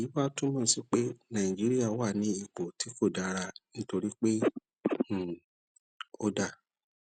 èyí wá túmọ sí pé nàìjíríà wà ní ipò tí kò dára nítorí pé um ó dà